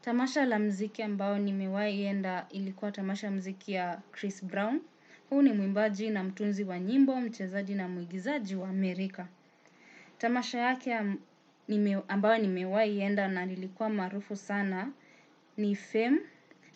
Tamasha la mziki ambao ni mewai yenda ilikuwa tamasha mziki ya Chris Brown. Huu ni mwimbaji na mtunzi wa nyimbo, mchezaji na mwigizaji wa Amerika. Tamasha yake ambao nimewai yenda na ilikuwa marufu sana ni Femme